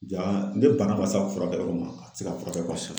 Ja ne bana ma s'a furakɛ yɔrɔ ma a tɛ se ka furakɛ ka kosɛbɛ